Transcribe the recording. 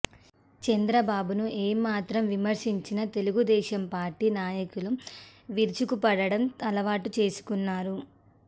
చంద్రబాబును ఏ మాత్రం విమర్శించినా తెలుగుదేశం పార్టీ నాయకులు విరుచుకపడడం అలవాటు చేసుకున్నారు